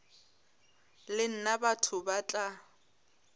le nna batho ba tla